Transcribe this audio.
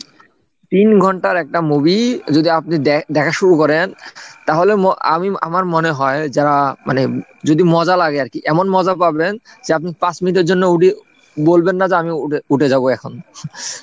তিন ঘন্টার একটা movie যদি আপনি দে~দেখা শুরু করেন তাহলে আমি আমার মনে হয় যারা মানে যদি মজা লাগে আর কি এমন মজা পাবেন, যে আপনি পাঁচ মিনিটের জন্য বলবেন না যে আমি উঠে যাবো এখন ,